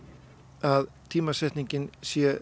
að tímasetningin sé